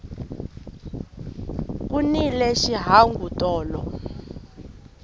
ku nile xihangu tolo